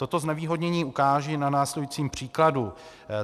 Toto znevýhodnění ukážu na následujícím příkladu.